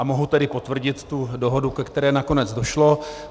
A mohu tedy potvrdit tu dohodu, ke které nakonec došlo.